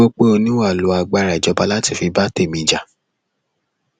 ó ní mo gbọ pé ó ní wà á lo agbára ìjọba láti fi bá tèmi jà